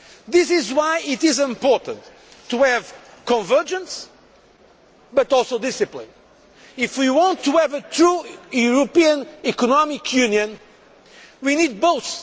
This is why it is important to have convergence, but also discipline. If we want to have a true European Economic Union we need both.